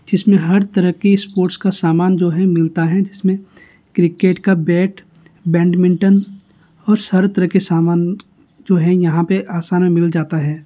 जिसमे हर तरह के स्पोर्ट्स का सामान जो है मिलता है जिसमे क्रिकेट का बैट बैडमिंटन और सारे तरह के सामान जो है यहाँ पे आसान में मिल जाता है।